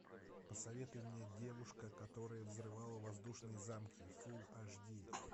посоветуй мне девушка которая взрывала воздушные замки фулл аш ди